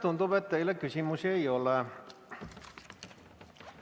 Tundub, et teile küsimusi ei ole.